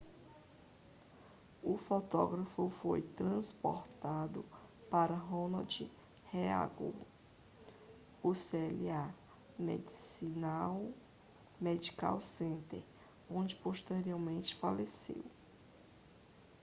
o fotógrafo foi transportado para o ronald reagan ucla medical center onde posteriormente faleceu